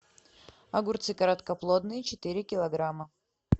огурцы короткоплодные четыре килограмма